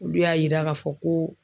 Olu y'a yira k'a fɔ ko